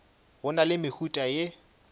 go na le mehuta ye